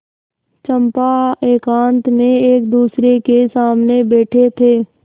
चंपा एकांत में एकदूसरे के सामने बैठे थे